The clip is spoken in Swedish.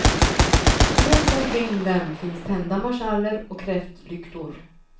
Runt omkring dem finns tända marschaller och kräftlyktor.